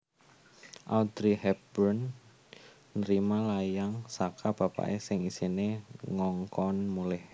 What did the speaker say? Audrey Hepburn nerima layang saka bapake sing isine ngongkon mulih